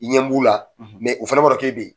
I ɲɛ b'u la, o fana b'a dɔn k'e bɛ yen.